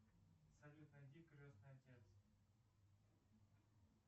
салют найди крестный отец